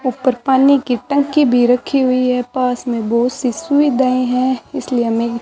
ऊपर पानी की टंकी भी रखी हुई है पास में बहुत सी सुई दए हैं इसलिए हमें--